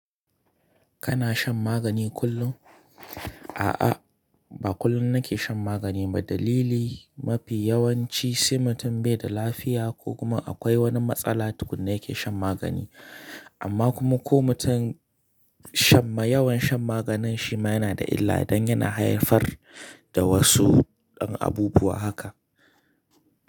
Kana shan magani kullum? A'a, ba kullum na ke shan magani ba. Dalili mafi yawanci sai mutum bai da lafiya ko kuma akwai wani matsala tukuna ya ke shan magani. Amma kuma ko mutum shan ma yawan shan maganin shi ma yana da illa, dan yana haifar da wasu abubuwa haka.